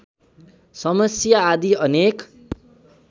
समस्या आदि अनेक